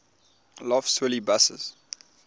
lough swilly buses